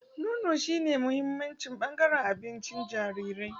Nono shine muhimmin bangaren abincin jariri.